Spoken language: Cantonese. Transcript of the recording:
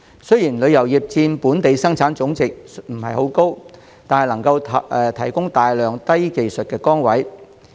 雖然旅遊業佔本地生產總值的比重不高，但能提供大量低技術職位。